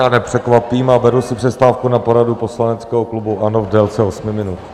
Já nepřekvapím a beru si přestávku na poradu poslaneckého klubu ANO v délce osmi minut.